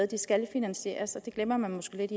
det skal finansieres og det glemmer man måske lidt